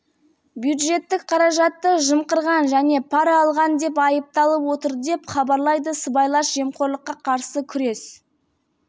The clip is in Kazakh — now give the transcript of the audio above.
бәйтерек холдингі басқармасының төрағасы бола отырып ол құрылыс компанияларының мүдделерін үшін ұрлық және пара алудың